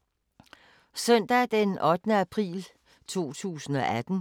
Søndag d. 8. april 2018